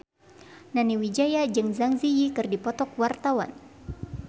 Nani Wijaya jeung Zang Zi Yi keur dipoto ku wartawan